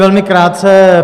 Velmi krátce.